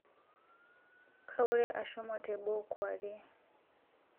Kaurie ashomo teboo kwuarie